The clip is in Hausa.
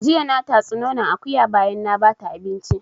Jiya na tatsi nonon akuya bayan na bata abinci